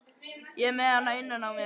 Ég er með hana innan á mér.